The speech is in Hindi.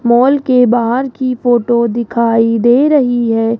मॉल के बाहर की फोटो दिखाई दे रही है।